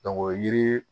o yiri